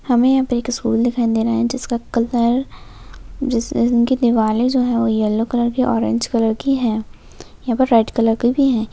हमे यहा पे एक स्कूल दिखाई दे रहा है जिसका कलर जिसपे उनकी दिवार है जो वो येल्लो कलर की ऑरेंज कलर की है यहा पर रेड कलर का भी है।